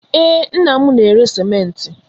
Ee, nna m na-ere sịmentị.